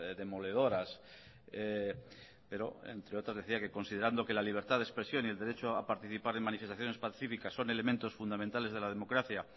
demoledoras pero entre otras decía que considerando que la libertad de expresión y el derecho a participar en manifestaciones pacíficas son elementos fundamentales de la democracia